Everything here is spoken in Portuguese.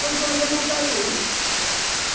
Quando foi um dia, mataram um.